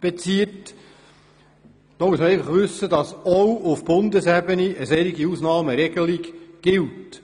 bezieht, muss man wissen, dass auch auf Bundesebene eine solche Ausnahmeregelung gilt.